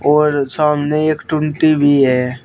और सामने एक टूंटी भी है।